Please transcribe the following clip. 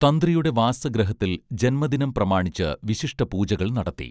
തന്ത്രിയുടെ വാസഗൃഹത്തിൽ ജന്മദിനം പ്രമാണിച്ച് വിശിഷ്ട പൂജകൾ നടത്തി